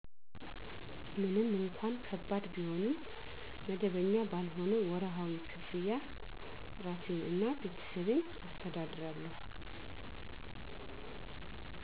ምንም እንኳን ከባድ ቢሆንም *መደበኛ ባልሆነ ወርሀዊ ክፍያ እራሴን እና ቤተሰቤን አስተዳድራለሁ።